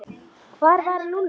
Hvar var Lúlli?